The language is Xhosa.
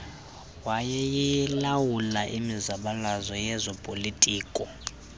wayeyilawula imizabalazo yezopolitiko